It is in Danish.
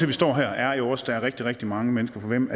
vi står her er jo også at der er rigtig rigtig mange mennesker for hvem